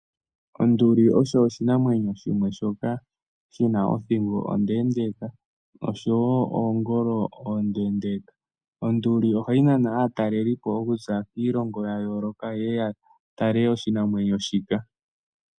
Onduli oyo oshinamwenyo shimwe shoka shi na othingo ondeendeeka osho wo oongolo oondeendeeka. Onduli ohayi nana aatalelipo okuza kiilongo ya yooloka ye ye ya tale oshinamwenyo shika.